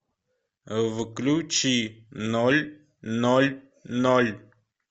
включи ноль ноль ноль